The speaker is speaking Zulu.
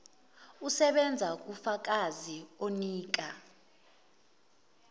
usebenza kufakazi onika